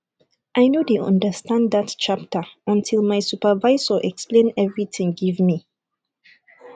i no dey understand dat chapter until my supervisor explain everything give me